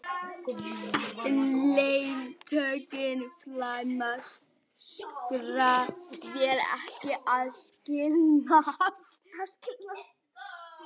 Leiðtogi flæmskra vill ekki aðskilnað